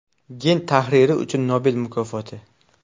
Gen tahriri uchun Nobel mukofoti.